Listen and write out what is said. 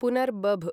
पुनर्भब